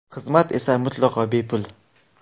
Xizmat esa mutlaqo bepul.